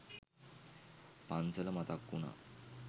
පන්සල මතක් වුනා